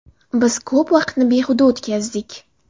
Biz ko‘p vaqtni behuda o‘tkazdik.